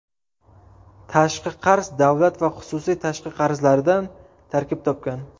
Tashqi qarz davlat va xususiy tashqi qarzlaridan tarkib topgan.